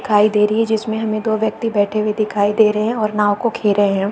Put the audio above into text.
दिखाई दे रही है जिसमें हमें दो व्यक्ति बैठे हुए दिखाई दे रहे हैं और नाव को घेरे हैं।